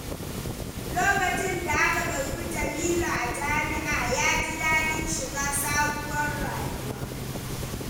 Lokacin da aka karɓi Jamilu a jami’a, ya ji daɗin shiga sabuwar rayuwa.